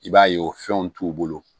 I b'a ye o fɛnw t'u bolo